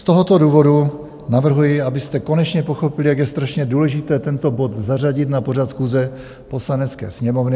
Z tohoto důvodu navrhuji, abyste konečně pochopil, jak je strašně důležité tento bod zařadit na pořad schůze Poslanecké sněmovny.